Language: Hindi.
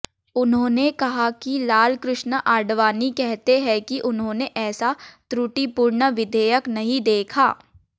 उन्होंने कहा कि लालकृष्ण आडवाणी कहते हैं कि उन्होंने ऐसा त्रुटिपूर्ण विधेयक नहीं देखा